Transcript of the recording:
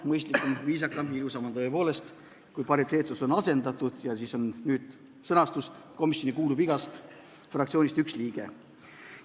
Mõistlikum, viisakam ja ilusam on tõepoolest, kui pariteetsus on asendatud ja nüüd on sõnastus järgmine: "komisjoni kuulub igast fraktsioonist üks liige".